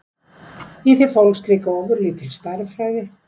Í því fólst líka ofurlítil stærðfræði.